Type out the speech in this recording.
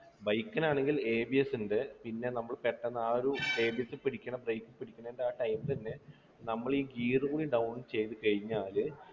bike നാണെങ്കിൽ ABS ഉണ്ട് പിന്നെ നമ്മളെ പെട്ടെന്ന് ആ ഒരു ABS പിടിക്കണ brake പിടിക്കുന്ന ആ time ൽതന്നെ നമ്മളീ gear കൂടി down ചെയ്തു കഴിഞ്ഞാല്